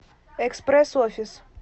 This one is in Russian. экспресс офис